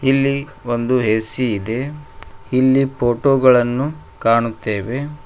ಇಲ್ಲಿ ಒಂದು ಎ_ಸಿ ಇದೆ ಇಲ್ಲಿ ಪೋಟೋ ಗಳನ್ನು ಕಾಣುತ್ತೇವೆ.